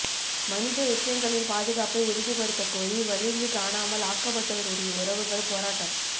மனித எச்சங்களின் பாதுகாப்பை உறுதிப்படுத்தக்கோரி வலிந்து காணாமல் ஆக்கப்பட்டோருடைய உறவுகள் போராட்டம்